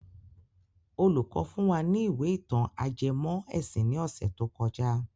Olùkọ́ fún wa ní ìwé ìtàn ajẹmọ́ ẹ̀sìn ní ọ̀sẹ̀ tó kọjá.